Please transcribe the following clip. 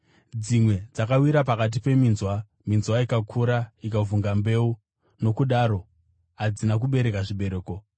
Dzimwe dzakawira pakati peminzwa, minzwa ikakura ikavhunga mbeu, nokudaro hadzina kubereka zvibereko.